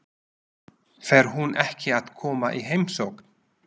Fer hún ekki að koma í heimsókn?